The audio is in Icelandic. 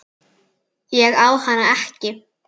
Ég á hana ekki.